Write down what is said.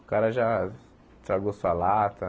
O cara já estragou sua lata.